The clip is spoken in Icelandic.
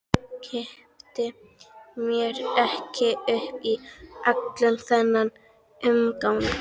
Kippti mér ekki upp við allan þennan umgang.